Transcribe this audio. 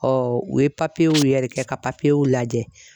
Ɔ u ye papiyew yɛrɛ kɛ ka papiyew lajɛ.